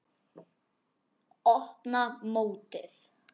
Opna mótið.